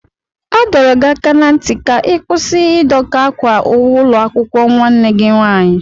A dọrọ gị aka ná ntị ka ị kwụsị Ị doka ákwà ụlọakwụkwọ nwanne gị nwaanyị!